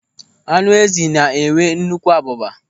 Ánụ́ ézì na-enwe nnukwu abụba.